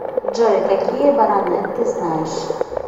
джой какие баронет ты знаешь